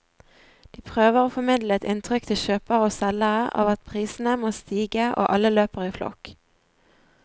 De prøver å formidle et inntrykk til kjøpere og selgere av at prisene må stige, og alle løper i flokk.